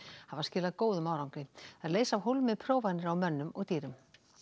hafa skilað góðum árangri þær leysa af hólmi prófanir á mönnum og dýrum